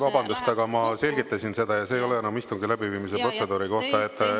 Vabandust, aga ma selgitasin seda, ja see ei ole enam istungi läbiviimise protseduuri kohta.